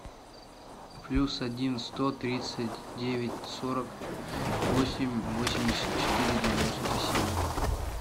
плюс один сто тридцать девять сорок восемь восемьдесят четыре девяносто семь